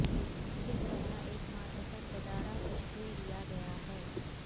کس طرح ایک ماتحت ادارہ تشکیل دیا گیا ہے